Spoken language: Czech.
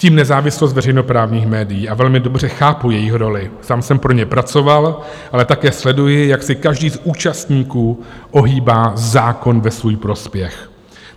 Ctím nezávislost veřejnoprávních médií a velmi dobře chápu jejich roli, sám jsem pro ně pracoval, ale také sleduji, jak si každý z účastníků ohýbá zákon ve svůj prospěch.